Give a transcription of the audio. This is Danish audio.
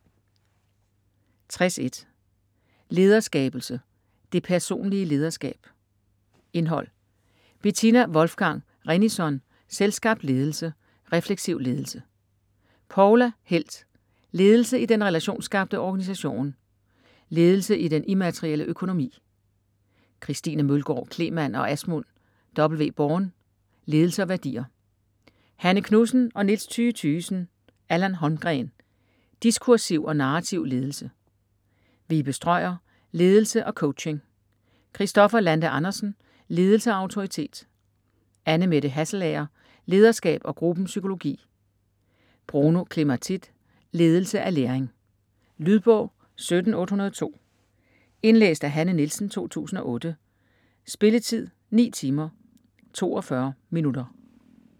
60.1 Lederskabelse: det personlige lederskab Indhold: Betina Wolfgang Rennison: Selvskabt ledelse; Refleksiv ledelse. Poula Helth: Ledelse i den relationsskabte organisation. Ledelse i den immaterielle økonomi / Christine Mølgård Cleeman og Asmund W. Born. Ledelse og værdier / Hanne Knudsen og Niels Thyge Thygesen. Allan Holmgreen: Diskursiv og narrativ ledelse. Vibe Strøier: Ledelse og coaching. Kristoffer Lande Andersen: Ledelse og autoritet. Annemette Hasselager: Lederskab og gruppens psykologi. Bruno Clematide: Ledelse af læring. Lydbog 17802 Indlæst af Hanne Nielsen, 2008. Spilletid: 9 timer, 42 minutter.